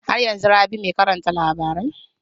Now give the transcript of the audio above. Har yanzun Rabi mai karanta labarai?